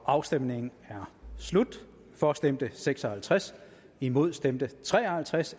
afstemningen er slut for stemte seks og halvtreds imod stemte tre og halvtreds